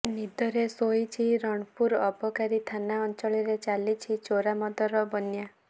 ନିଦରେ ଶୋଇଛି ରଣପୁର ଅବକାରୀ ଥାନା ଅଂଚଳରେ ଚାଲିଛି ଚୋରା ମଦର ବନ୍ୟା